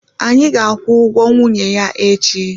Anyị ga-akwụ ụgwọ nwunye ya echi